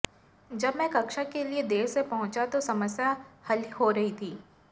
जब मैं कक्षा के लिए देर से पहुंचे तो समस्या हल हो रही थी